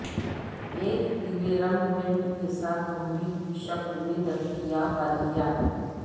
ایک پیلے رنگ ٹنٹ کے ساتھ گولی کی شکل میں دستیاب ادویات